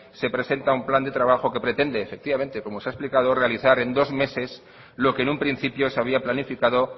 se presenta un plan de trabajo efectivamente como se ha explicado realizar en dos meses lo que en un principio se había planificado